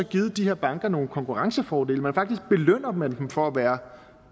givet de her banker nogle konkurrencefordele faktisk belønner man dem for at være